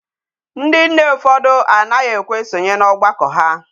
Ndi nne ufodu anaghi ekwe esonye n'ogbako ha.